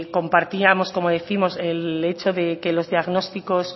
compartíamos como decíamos el hecho de que los diagnósticos